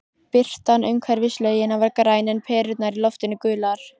Birtan umhverfis laugina var græn, en perurnar í loftinu gular.